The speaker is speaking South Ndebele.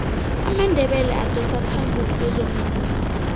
amandebele adosa phambili kwezomvumo